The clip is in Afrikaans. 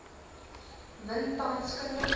win tans kundige